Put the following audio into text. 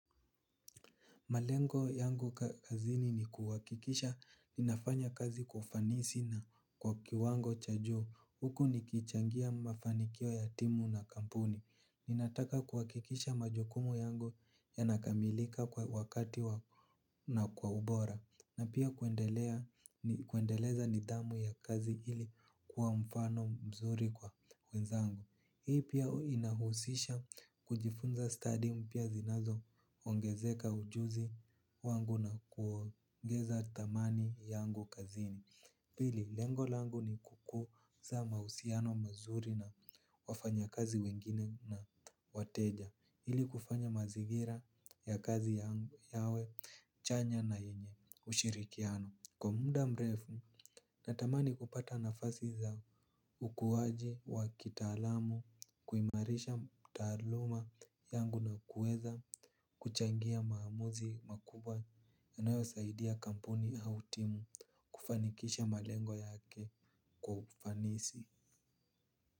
Malengo yangu kazini ni kuhakikisha ninafanya kazi kwa ufanisi na kwa kiwango cha juu. Huku nikichangia mafanikio ya timu na kampuni. Ninataka kuhakikisha majukumu yangu yanakamilika kwa wakati na kwa ubora. Na pia kuendeleza nidhamu ya kazi ili kuwa mfano mzuri kwa wenzangu. Hii pia inahusisha kujifunza 'study' mpya zinazoongezeka ujuzi wangu na kuongeza thamani yangu kazini. Pili, lengo langu ni kukuza mahusiano mazuri na wafanya kazi wengine na wateja ili kufanya mazingira ya kazi yangu yawe chanya na yenye ushirikiano kwa muda mrefu, natamani kupata nafasi za ukuaji wa kitaalam, kuimarisha taaluma yangu na kuweza, kuchangia maamuzi makubwa yanayosaidia kampuni au timu kufanikisha malengo yake kwa ufanisi.